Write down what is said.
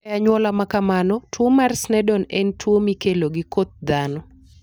E anyuola ma kamano, tuwo mar Sneddon en tuwo mikelo gi koth dhano.